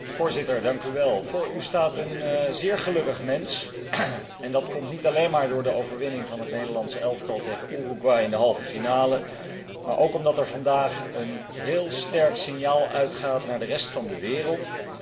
Voorzitter, voor u staat een zeer gelukkig mens en dat komt niet alleen maar door de overwinning van het Nederlands elftal tegen Uruguay in de halve finale, maar ook omdat er vandaag een heel sterk signaal uitgaat naar de rest van de wereld.